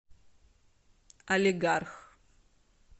алигарх